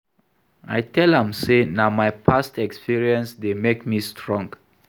I tell am sey na my past experience dey make me strong.